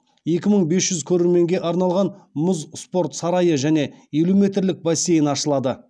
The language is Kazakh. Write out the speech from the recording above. екі мың бес жүз көрерменге арналған мұз спорт сарайы және елу метрлік бассейн ашылады